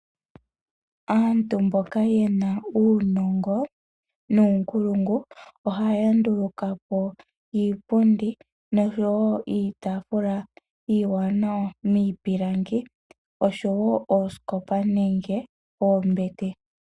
Aantu mboka yena uunongo nuunkulungu ohaya nduluka po iipundi nosho wo iitafula iiwanawa miipilangi osho wo oosikopa nenge oombete.